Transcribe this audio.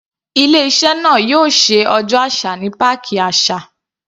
Ilé iṣẹ́ náà yóò ṣe ọjọ́ àṣà ní páàkì àṣà.